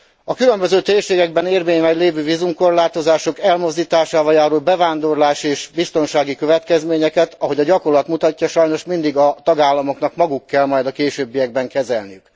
A különböző térségekben érvényben lévő vízumkorlátozások elmozdításával járó bevándorlási és biztonsági következményeket, ahogy a gyakorlat mutatja, sajnos mindig a tagállamoknak maguknak kell a későbbiekben kezelni.